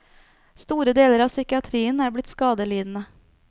Store deler av psykiatrien er blitt skadelidende.